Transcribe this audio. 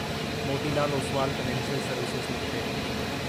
Moti Lal Oswal financial services limited